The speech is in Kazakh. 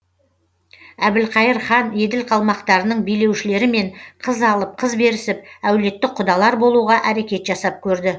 әбілқайыр хан еділ қалмақтарының билеушілерімен қыз алып қыз берісіп әулеттік құдалар болуға әрекет жасап көрді